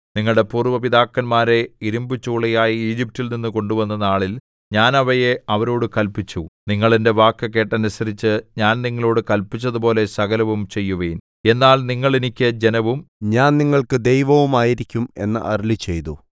നിങ്ങളുടെ പൂര്‍വ്വ പിതാക്കന്മാരെ ഇരിമ്പുചൂളയായ ഈജിപ്റ്റിൽ നിന്ന് കൊണ്ടുവന്ന നാളിൽ ഞാൻ അവയെ അവരോടു കല്പിച്ചു നിങ്ങൾ എന്റെ വാക്കു കേട്ടനുസരിച്ച് ഞാൻ നിങ്ങളോടു കല്പിച്ചതുപോലെ സകലവും ചെയ്യുവിൻ എന്നാൽ നിങ്ങൾ എനിക്ക് ജനവും ഞാൻ നിങ്ങൾക്ക് ദൈവവും ആയിരിക്കും എന്നരുളിച്ചെയ്തു